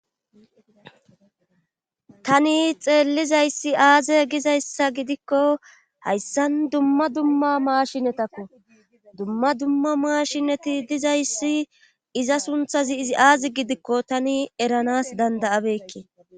tani xeellizayssi aaze gizayssa gidikko hayssan dumma dumma maashinetakko dumma dumma maashineti dizayssi iza sunthazi izi aazi gidikko tani eranas dandayabekke